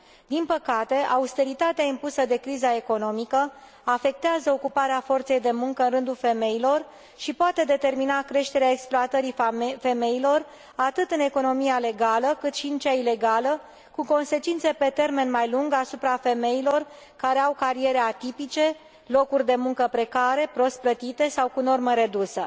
Din păcate, austeritatea impusă de criza economică afectează ocuparea forței de muncă în rândul femeilor și poate determina creșterea exploatării femeilor atât în economia legală, cât și în cea ilegală, cu consecințe pe termen mai lung asupra femeilor care au cariere atipice, locuri de muncă precare, prost plătite sau cu normă redusă.